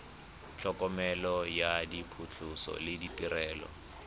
tlhokomelo ya phatlhoso le ditirelo